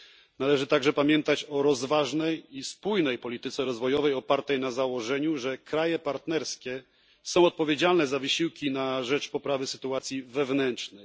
Należy także pamiętać o rozważnej i spójnej polityce rozwojowej, opartej na założeniu, że kraje partnerskie są odpowiedzialne za wysiłki na rzecz poprawy sytuacji wewnętrznej.